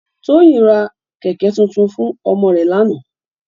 Toyin rá kèkè tútún fún òmò rè làná